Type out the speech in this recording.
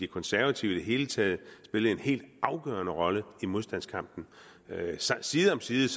konservative i det hele taget spillede en helt afgørende rolle i modstandskampen side om side